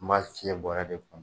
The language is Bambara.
N ba fiyɛ bɔrɛ de kɔnɔ.